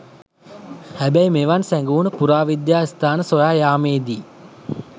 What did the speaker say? හැබැයි මෙවන් සැඟවුන පුරාවිද්‍යා ස්ථාන සොයා යාමේදී